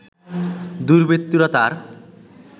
দুর্বৃত্তরা তার